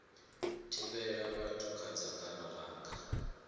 thivhela vhathu kha dzangano langa